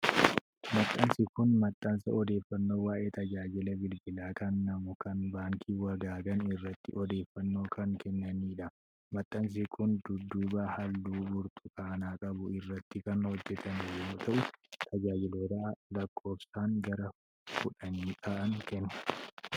Maxxansi kun, maxxansa odeeffannoo waa'ee tajaajila bilbilaan kennamu kan Baankii Wagaagan irratti odeeffannoo kan kennanii dha. Maxxansi kun dudduuba halluu burtukaanaa qabu irratti kan hojjatame yoo ta'u, tajaajiloota lakkoofsaan gara kudhanii ta'an kenna.